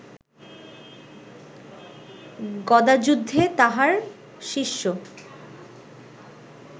গদাযুদ্ধে তাহার শিষ্য